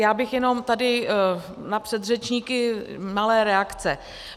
Já bych jenom tady na předřečníky malé reakce.